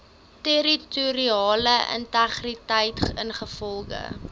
territoriale integriteit ingevolge